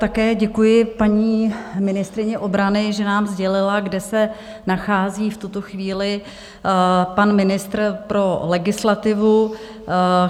Také děkuji paní ministryni obrany, že nám sdělila, kde se nachází v tuto chvíli pan ministr pro legislativu.